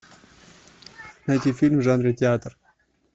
найти фильм в жанре театр